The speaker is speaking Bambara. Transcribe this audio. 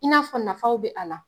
I n'a fɔ nafaw be a la